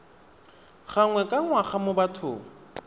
gangwe ka ngwaga mo bathong